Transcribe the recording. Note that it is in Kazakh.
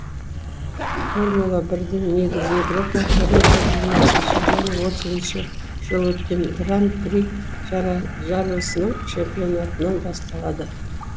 формула бірдің негізі еуропада бір мың тоғыз жүз жиырмасыншы және отызыншы өткен гран при жарысының чемпионатынан басталады